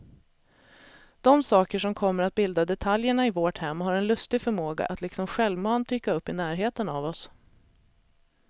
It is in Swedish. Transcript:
De saker som kommer att bilda detaljerna i vårt hem har en lustig förmåga att liksom självmant dyka upp i närheten av oss.